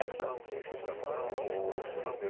Época o meu.